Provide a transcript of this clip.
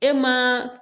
E ma